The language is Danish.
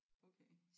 Okay